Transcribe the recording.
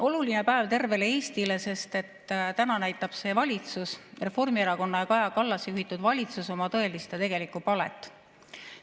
Oluline päev tervele Eestile, sest täna näitab see valitsus, Reformierakonna ja Kaja Kallase juhitud valitsus, oma tõelist ja tegelikku palet.